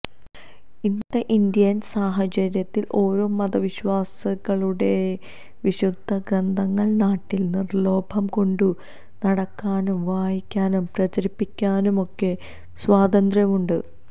ഇന്നത്തെ ഇന്ത്യന് സാഹചര്യത്തില് ഓരോ മതവിശ്വാസികളുടെ വിശുദ്ധ ഗ്രന്ഥങ്ങള് നാട്ടില് നിര്ലോഭം കൊണ്ടു നടക്കാനും വായിക്കാനും പ്രചരിപ്പിക്കാനുമൊക്കെ സ്വാതന്ത്ര്യമുണ്ട്